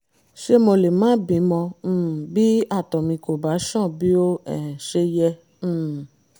ṣé mo lè má bímọ um bí àtọ̀ mi kò bá ṣàn bí ó um ṣe yẹ? um